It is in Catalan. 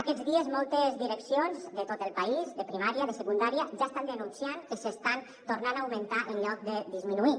aquests dies moltes direccions de tot el país de primària de secundària ja estan denunciant que s’estan tornant a augmentar en lloc de disminuir